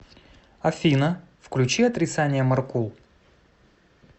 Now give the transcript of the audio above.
афина включи отрицание маркул